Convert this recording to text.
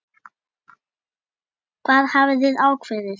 Hvað hafið þið ákveðið?